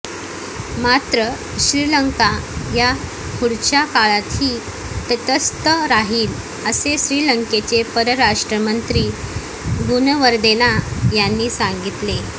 मात्र श्रीलंका या पुढच्या काळातही तटस्थ राहिल असे श्रीलंकेचे परराष्ट्र मंत्री गुणवर्देना यांनी सांगितले